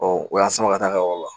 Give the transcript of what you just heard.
Ɔ o y'a sama ka taa ka yɔrɔ la